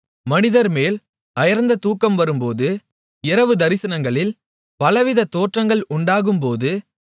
மனிதர்மேல் அயர்ந்த தூக்கம் வரும்போது இரவு தரிசனங்களில் பலவித தோற்றங்கள் உண்டாகும்போது